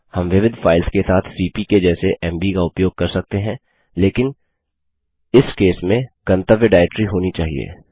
हम विविध फाइल्स के साथ सीपी के जैसे एमवी का उपयोग कर सकते हैं लेकिन इस केस में गंतव्य डाइरेक्टरी होना चाहिए